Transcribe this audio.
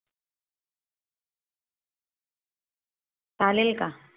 चालेल का?